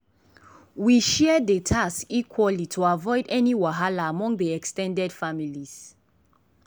we share dey task equaly to avoid any wahala among dey ex ten ded families.